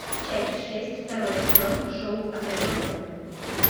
часть шесть второй сезон шоу одаренная